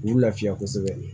K'u lafiya kosɛbɛ